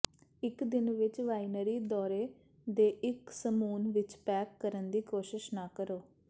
ਇਕ ਦਿਨ ਵਿਚ ਵਾਈਨਰੀ ਦੌਰੇ ਦੇ ਇਕ ਸਮੂਹ ਵਿਚ ਪੈਕ ਕਰਨ ਦੀ ਕੋਸ਼ਿਸ਼ ਨਾ ਕਰੋ